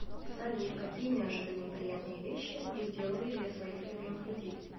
салют какие неожиданные приятные вещи вы делали для своих любимых людей